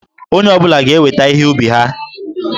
Onye ọ bụla ga-eweta ihe ubi ha.